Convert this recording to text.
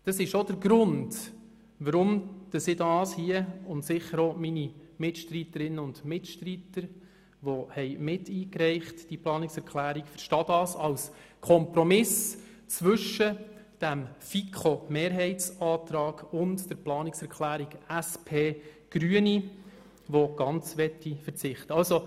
Dies ist auch der Grund, weshalb ich – und sicher auch meine Mitstreiterinnen und Mitstreiter, welche die Planungserklärung miteingereicht haben – unsere Planungserklärung als Kompromiss sieht zwischen der Planungserklärung der FiKoMehrheit und der Planungserklärung SP-JUSO-PSA/ Grüne, welche ganz auf die Massnahme verzichten möchten.